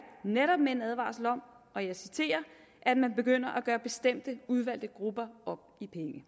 netop med en advarsel om og jeg citerer at man begynder at gøre bestemte udvalgte grupper op i